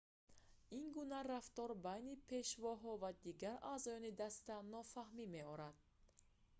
ин гуна рафтор байни пешвоҳо ва дигар аъзоёни даста нофаҳмӣ меорад